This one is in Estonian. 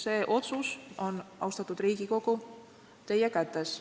See otsus on, austatud Riigikogu, teie kätes.